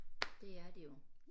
Det er de jo